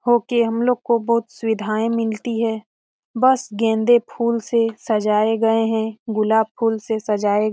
Okay हम लोग को बहुत सुविधा मिलती है। बस गेंदे फूल से सजाए गए हैं गुलाब फूल से सजाए--